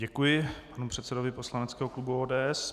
Děkuji panu předsedovi poslaneckého klubu ODS.